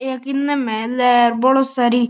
एक इने महल है बोली सारी --